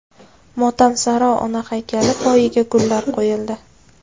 Motamsaro ona haykali poyiga gullar qo‘yildi.